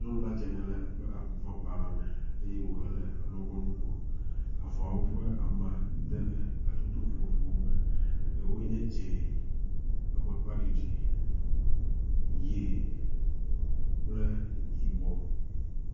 Nyɔnua dze ŋe le eƒe avɔgba la me eye wòhe le alɔgbɔnu ko. Avɔawo ƒe amade le hatsotso vovovowo me, eɖewoe nye dzẽ, amakpaɖiɖi, ʋie kple yibɔ.